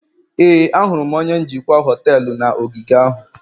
Éè, ahụrụ m onye njikwa họtelu na ogige ahụ